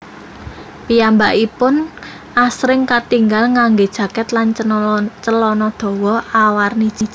Piyambakipun asring katingal nganggé jaket lan celana dawa awarni jingga